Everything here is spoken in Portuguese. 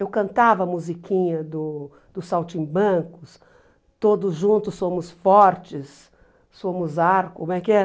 Eu cantava a musiquinha do dos Saltimbancos, todos juntos somos fortes, somos arco, como é que é?